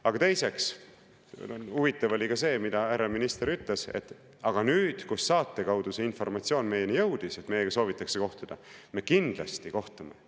Aga teiseks, huvitav oli ka see, mida härra minister ütles, et aga nüüd, kui saate kaudu see informatsioon nendeni jõudis, et nendega soovitakse kohtuda, nad kindlasti kohtuvad.